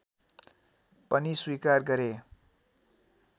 पनि स्वीकार गरे